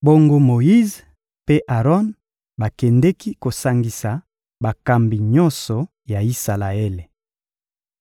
Bongo Moyize mpe Aron bakendeki kosangisa bakambi nyonso ya Isalaele.